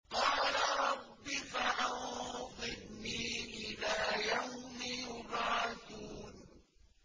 قَالَ رَبِّ فَأَنظِرْنِي إِلَىٰ يَوْمِ يُبْعَثُونَ